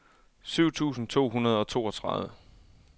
syv tusind to hundrede og toogtredive